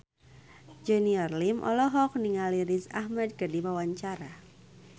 Junior Liem olohok ningali Riz Ahmed keur diwawancara